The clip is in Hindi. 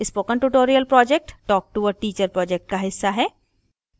spoken tutorial project talk to a teacher project का हिस्सा है